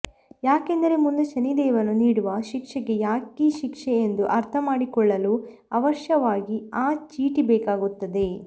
ಯಾಕೆಂದರೆ ಮುಂದೆ ಶನಿದೇವನು ನೀಡುವ ಶಿಕ್ಷೆಗೆ ಯಾಕೀ ಶಿಕ್ಷೆ ಎಂದು ಅರ್ಥಮಾಡಿಕೊಳ್ಳಲು ಅವಶ್ಯವಾಗಿ ಆ ಚೀಟಿ ಬೇಕಾಗುತ್ತದೆ